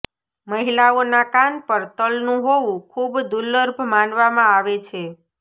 મહિલાઓના કાન પર તલનું હોવું ખૂબ દુર્લભ માનવામાં આવે છે